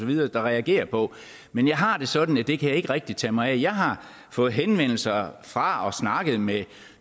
videre der reagerer på men jeg har det sådan at det kan jeg ikke rigtig tage mig af jeg har fået henvendelser fra og snakket med